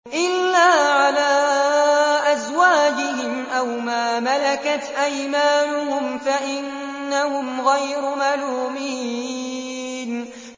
إِلَّا عَلَىٰ أَزْوَاجِهِمْ أَوْ مَا مَلَكَتْ أَيْمَانُهُمْ فَإِنَّهُمْ غَيْرُ مَلُومِينَ